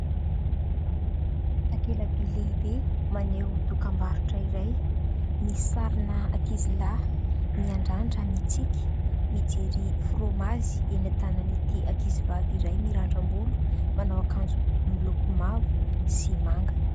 Takela-by lehibe maneho dokam-barotra iray : misy sarin' ankizy lahy miandrandra, mitsiky, mijery frômazy eny an-tanan'ity ankizivavy iray mirandram-bolo, manao akanjo miloko mavo sy manga.